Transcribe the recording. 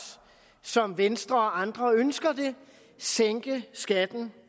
som venstre og andre ønsker det sænke skatten